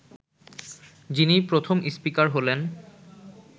যিনি প্রথম স্পিকার হলেন